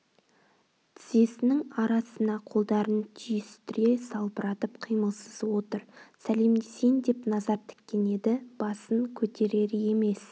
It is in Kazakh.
тізесінің арасына қолдарын түйістіре салбыратып қимылсыз отыр сәлемдесейін деп назар тіккен еді басын көтерер емес